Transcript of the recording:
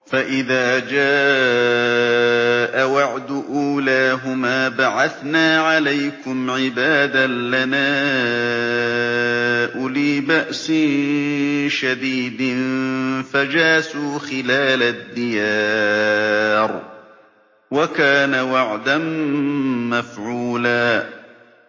فَإِذَا جَاءَ وَعْدُ أُولَاهُمَا بَعَثْنَا عَلَيْكُمْ عِبَادًا لَّنَا أُولِي بَأْسٍ شَدِيدٍ فَجَاسُوا خِلَالَ الدِّيَارِ ۚ وَكَانَ وَعْدًا مَّفْعُولًا